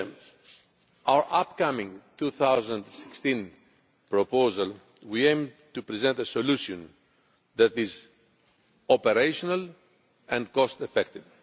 In our upcoming 2016 proposal we aim to present a solution that is operational and cost effective.